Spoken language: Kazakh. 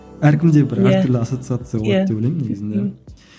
әркімде бір әр түрлі ассоциация болады деп ойлаймын негізінде